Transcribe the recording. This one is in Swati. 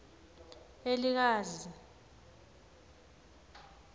elikazi